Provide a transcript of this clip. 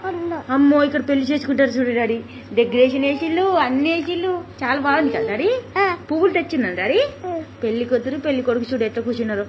అమ్మో ఇక్కడ పెళ్లి చేసుకుంటారు చూడు డాడీ. డెకరేషన్ ఏసిల్లు అన్ని ఏసిల్లు చాలా బాగుంది కదా డాడీ. పువ్వులు తెచుందామా డాడీ. పెళ్ళికూతురు పెళ్లి కొడుకు చూడు ఎట్లా కూర్చున్నారు.